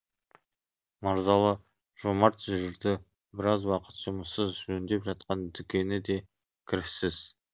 мырзалы жомарт жүрді біраз уақыт жұмыссыз жөндеп жатқан дүкені де кіріссіз